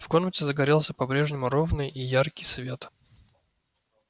в комнате загорелся по-прежнему ровный и яркий свет